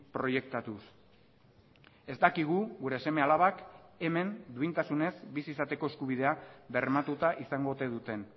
proiektatuz ez dakigu gure seme alabak hemen duintasunez bizi izateko eskubidea bermatuta izango ote duten